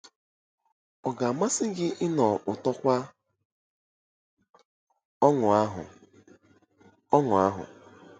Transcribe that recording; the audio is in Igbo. Ọ ga-amasị gị ịnụ ụtọkwa ọṅụ ahụ? ọṅụ ahụ?